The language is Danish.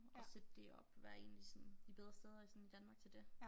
At sætte det op være 1 af de sådan de bedre steder i sådan Danmark til det